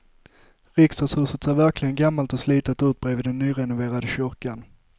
Riksdagshuset ser verkligen gammalt och slitet ut bredvid den nyrenoverade kyrkan.